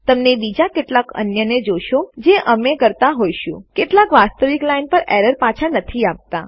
તમે બીજા કેટલાક અન્યને જોશો જે અમે કરતા હોઈશું કેટલાક વાસ્તવિક લાઈન એરર પાછા નથી આપતા